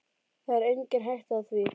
Það er engin hætta á því.